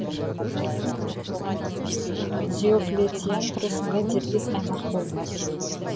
диоклетиан тұрысында дербес аймақ болды